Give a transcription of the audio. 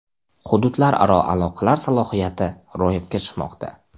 Hududlararo aloqalar salohiyati ro‘yobga chiqmoqda.